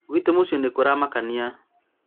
gwitũ mũcĩĩ nĩ kũramakanĩa